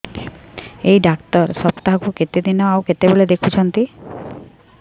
ଏଇ ଡ଼ାକ୍ତର ସପ୍ତାହକୁ କେତେଦିନ ଆଉ କେତେବେଳେ ଦେଖୁଛନ୍ତି